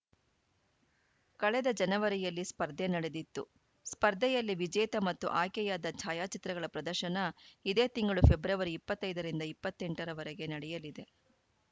ಕಳೆದ ಜನವರಿಯಲ್ಲಿ ಸ್ಪರ್ಧೆ ನಡೆದಿತ್ತು ಸ್ಪರ್ಧೆಯಲ್ಲಿ ವಿಜೇತ ಮತ್ತು ಆಯ್ಕೆಯಾದ ಛಾಯಾಚಿತ್ರಗಳ ಪ್ರದರ್ಶನ ಇದೇ ತಿಂಗಳು ಫೆಬ್ರವರಿ ಇಪ್ಪತ್ತ್ ಐದ ರಿಂದ ಇಪ್ಪತ್ತ್ ಎಂಟ ರವರೆಗೆ ನಡೆಯಲಿದೆ